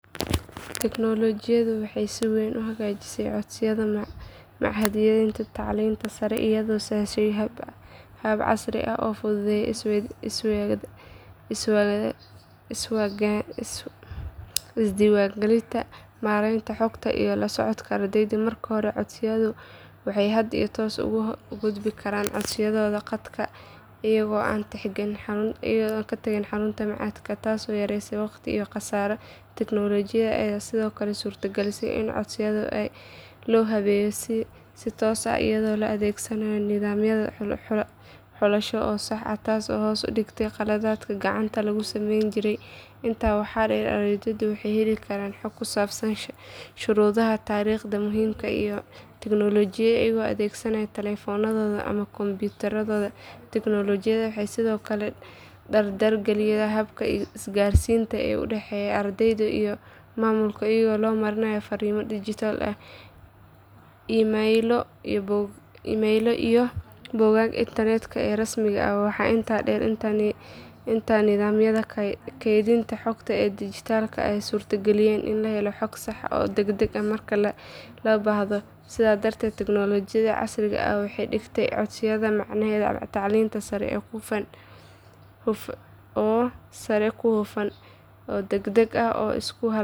Tignoolajiyadu waxay si weyn u hagaajisay codsiyada machadyada tacliinta sare iyadoo sahashay habab casri ah oo fududeeya isdiiwaangelinta, maaraynta xogta iyo la socodka ardayda. Marka hore codsadayaashu waxay hadda si toos ah ugu gudbin karaan codsiyadooda khadka iyaga oo aan tagin xarunta machadka taasoo yareysay waqti iyo kharash. Tignoolajiyada ayaa sidoo kale suurtagelisay in codsiyada loo habeeyo si toos ah iyadoo la adeegsanayo nidaamyo xulasho oo sax ah taasoo hoos u dhigtay qaladaadkii gacanta lagu sameyn jiray. Intaa waxaa dheer ardayda waxay heli karaan xog ku saabsan shuruudaha, taariikhaha muhiimka ah iyo natiijooyinka iyaga oo adeegsanaya taleefannadooda ama kombiyuutarro. Tignoolajiyadu waxay sidoo kale dardar gelisay habka isgaarsiinta ee u dhexeeya ardayda iyo maamulka iyada oo loo marayo fariimo dijitaal ah, iimaylo iyo bogagga internetka ee rasmiga ah. Waxaa intaa dheer in nidaamyada kaydinta xogta ee dijitaalka ah ay suurtageliyeen in la helo xog sax ah oo degdeg ah marka loo baahdo. Sidaas darteed tignoolajiyada casriga ah waxay ka dhigtay codsiyada machadyada tacliinta sare kuwo hufan, degdeg ah oo la isku halayn karo.